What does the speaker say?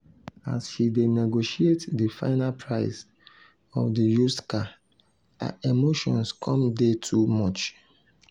as she dey negotiate di final price of di used car her emotions come dey too much.